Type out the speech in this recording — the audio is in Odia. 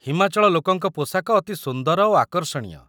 ହିମାଚଳ ଲୋକଙ୍କ ପୋଷାକ ଅତି ସୁନ୍ଦର ଓ ଆକର୍ଷଣୀୟ